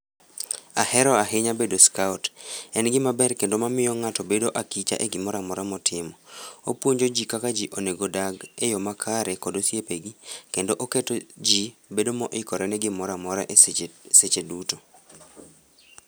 Ahero ahinya bedo scout. En gima ber kendo mamiyo ng'ato bedo akicha e gimoro amora motimo. Opuonjo jii kaka jii onego odag e yoo makare kod osiepegi kendp oketo jii bedo moikore ne gimoro amora e seche, seche duto